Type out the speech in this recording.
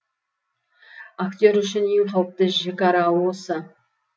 актер үшін ең қауіпті жікара осы